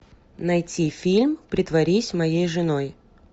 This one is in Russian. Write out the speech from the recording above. найти фильм притворись моей женой